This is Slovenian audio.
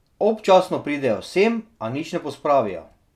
Občasno pridejo sem, a nič ne pospravijo.